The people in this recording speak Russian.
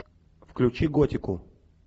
включи готику